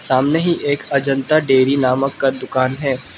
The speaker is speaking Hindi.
सामने ही एक अजंता डेयरी नामक का दुकान है।